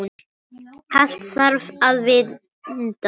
Allt þarf að vinda.